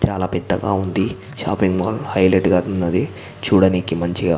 చాలా పెద్దగా ఉంది షాపింగ్ మాల్ హైలెట్ గా ఉన్నది. చూడనీకి మంచిగా.